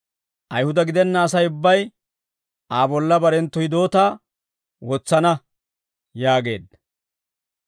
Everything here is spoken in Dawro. Ayihuda gidenna Asay ubbay, Aa bolla barenttu hidootaa wotsana» yaageedda.